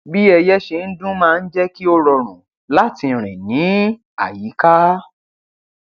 bí ẹyẹ ṣe ń dún máa ń jẹ kí ó rọrùn láti rìn ní àyíká